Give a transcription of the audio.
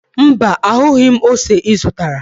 Mba, ahụghị m ose ị zụtara